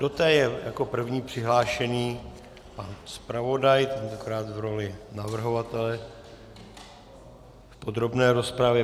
Do té je jako první přihlášený pan zpravodaj, tentokrát v roli navrhovatele v podrobné rozpravě.